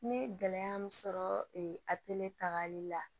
N ye gɛlɛya min sɔrɔ a tagali la